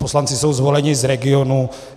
Poslanci jsou zvoleni z regionů.